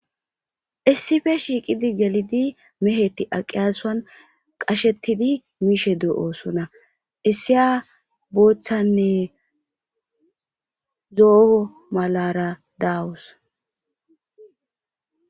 Issippe shiiqidi meheti gelidi aaqiyaaso qashetidi mishe de7oosona. Issiya boothanne zo7o malarara dawus.